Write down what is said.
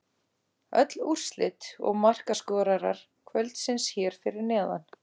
Öll úrslit og markaskorarar kvöldsins hér fyrir neðan: